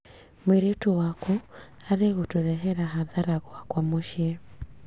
Mũirĩtu waku arĩ gũtũrehera hathara gwakwa mũciĩ